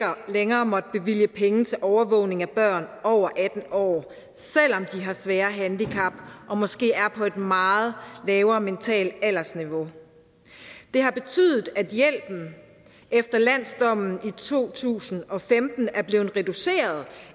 længere måtte bevilge penge til overvågning af børn over atten år selv om svære handicap og måske var på et meget lavere mentalt aldersniveau det har betydet at hjælpen efter landsretsdommen i to tusind og femten er blevet reduceret